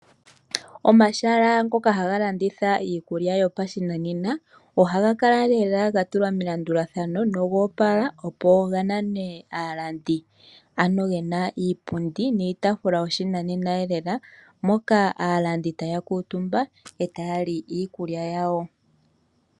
Omahala ngoka haga laditha iikulya yopashinanena, ohaga kala ga longekidhwa go oga opala, opo ganane aalandi. Ano gena iipundi niitaafula yoshinanena, moka aalandi haya kuutumba, nokulya iikulya yawo.